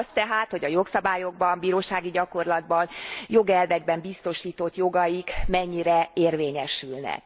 Azt tehát, hogy a jogszabályokban, bírósági gyakorlatban, jogelvekben biztosított jogaik mennyire érvényesülnek.